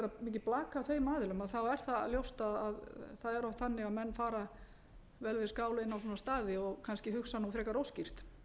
þá er það ljóst að það er nú þannig að menn fara vel við skál inn á svona staði og kannski hugsa nú frekar óskýrt